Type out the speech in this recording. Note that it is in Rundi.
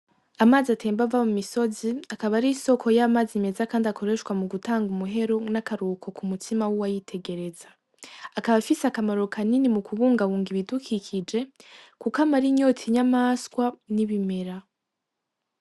Amazi atemba aba mu misozi , akaba ari’isoko y’amazi meza kandi akoreshwa mu gutanga umuhero n’akaruhuko k’umutsima w’uwayitegereza akaba afise akamaro kanini mu kubungabunga ibidukikije Kuko amara inyota inyamaswa n’ibimera.